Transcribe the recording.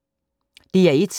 DR1